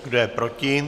Kdo je proti?